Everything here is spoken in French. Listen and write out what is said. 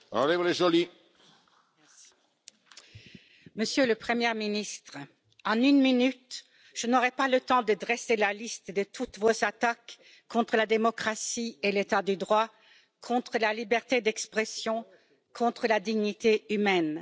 Monsieur le Président, Monsieur le Premier ministre, en une minute, je n'aurai pas le temps de dresser la liste de toutes vos attaques contre la démocratie et l'état de droit, contre la liberté d'expression, contre la dignité humaine.